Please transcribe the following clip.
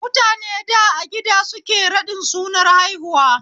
Mutane da a gida suke raɗin sunar haihuwa